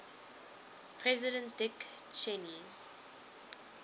president dick cheney